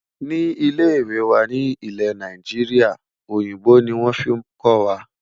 Ní ilè ìwé wà nì ilé Naijiria, òyìnbó ní wọn fí kò wà.